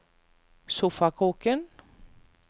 sofakroken